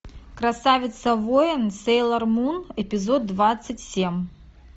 красавица воин сейлор мун эпизод двадцать семь